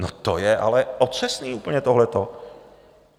No, to je ale otřesné úplně, tohleto.